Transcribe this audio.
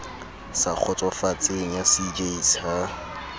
sa kgotsofatseng ya cjs ha